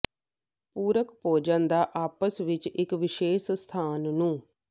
ਪੂਰਕ ਭੋਜਨ ਦਾ ਆਪਸ ਵਿੱਚ ਇਕ ਵਿਸ਼ੇਸ਼ ਸਥਾਨ ਨੂੰ